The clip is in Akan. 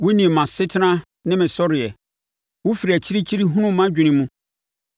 Wonim mʼasetena ne me sɔreɛ; wofiri akyirikyiri hunu mʼadwene mu.